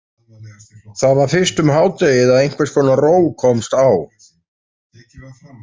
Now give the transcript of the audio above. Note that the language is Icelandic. Það var fyrst um hádegið að einhvers konar ró komst á.